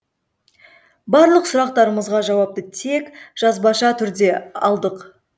барлық сұрақтарымызға жауапты тек жазбаша түрде алдық